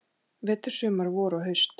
Vetur, sumar, vor og haust.